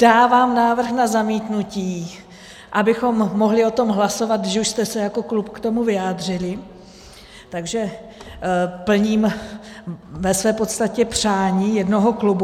Dávám návrh na zamítnutí, abychom mohli o tom hlasovat, že už jste se jako klub k tomu vyjádřili, takže plním ve své podstatě přání jednoho klubu.